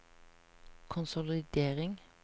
konsolidering